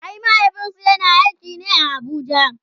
ai mahaifinsu yana aiki ne a Abuja